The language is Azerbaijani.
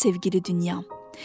Var sevgili dünyam.